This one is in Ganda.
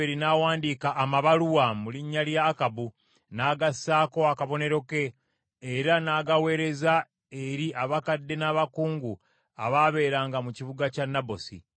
Awo Yezeberi n’awandiika amabaluwa mu linnya lya Akabu, n’agassaako akabonero ke, era n’agaweereza eri abakadde n’abakungu abaabeeranga mu kibuga kya Nabosi.